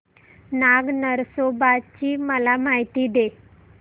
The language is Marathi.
नाग नरसोबा ची मला माहिती दे